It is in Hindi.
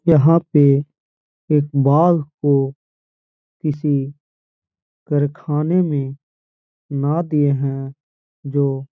यहाँ पे एक बाघ को किसी करखाने में ना दिए हैं जो --